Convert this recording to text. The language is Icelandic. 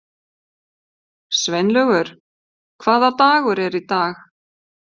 Sveinlaugur, hvaða dagur er í dag?